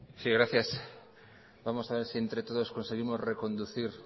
sí gracias vamos a ver si entre todos conseguimos reconducir